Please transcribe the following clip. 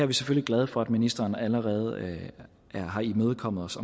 vi selvfølgelig glade for at ministeren allerede har imødekommet os